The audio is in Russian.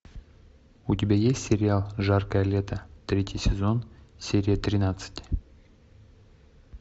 у тебя есть сериал жаркое лето третий сезон серия тринадцать